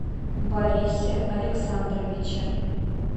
борисе александровиче